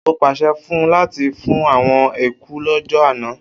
O pase fun u lati fun awon eku lojo ana